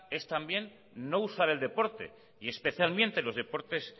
es también no usar el deporte y especialmente los deportes